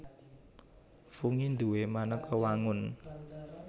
Fungi duwé manéka wangun